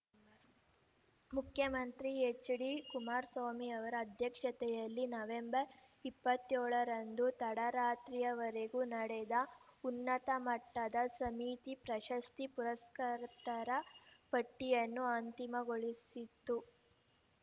ಮುಖ್ಯಮಂತ್ರಿ ಎಚ್‌ಡಿಕುಮಾರಸ್ವಾಮಿ ಅವರ ಅಧ್ಯಕ್ಷತೆಯಲ್ಲಿ ನವೆಂಬರ್ ಇಪ್ಪತ್ಯೋಳರಂದು ತಡರಾತ್ರಿವರೆಗೂ ನಡೆದ ಉನ್ನತ ಮಟ್ಟದ ಸಮಿತಿ ಪ್ರಶಸ್ತಿ ಪುರಸ್ಕ್ರತರ ಪಟ್ಟಿಯನ್ನು ಅಂತಿಮಗೊಳಿಸಿತ್ತು